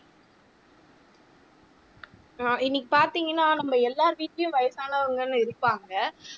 ஆஹ் இன்னைக்கு பார்த்தீங்கன்னா நம்ம எல்லார் வீட்டிலேயும் வயசானவங்கன்னு இருப்பாங்க